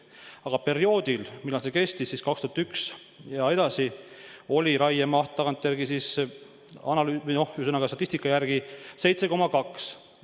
Aga perioodil, millal see kehtis – 2001 ja edasi –, oli raiemaht statistika järgi 7,2 miljonit.